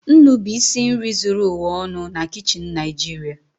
Nnu bụ isi nri zuru ụwa ọnụ na kichin Naịjirịa.